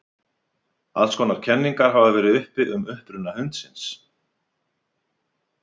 alls konar kenningar hafa verið uppi um uppruna hundsins